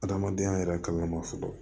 Adamadenya yɛrɛ kalan ma fɔlɔ